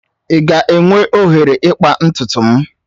I ga-enwe oghere ịkpa ntutu m?